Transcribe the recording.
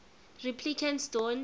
replicants don't